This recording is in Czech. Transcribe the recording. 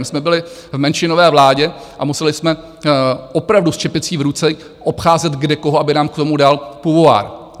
My jsme byli v menšinové vládě a museli jsme opravdu s čepicí v ruce obcházet kde koho, aby nám k tomu dal puvoár.